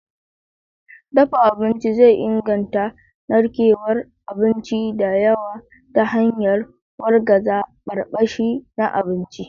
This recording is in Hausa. Dafa abinci zai inganta narkewar abinci da yawa ta hanyar wargaza barbashi na abinci.